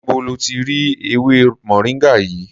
Níbo lo ti rí ewémoringa yìí?